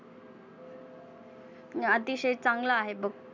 अतिशय चांगलं आहे बघ.